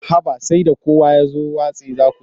Haba sai da kowa ya watse za ku zo.